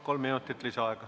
Kolm minutit lisaaega.